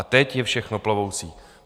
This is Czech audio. A teď je všechno plovoucí.